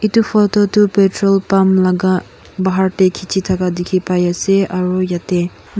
etu photo toh petrol pump laga bahar te khichi thaka dikhi pai ase aru yate du.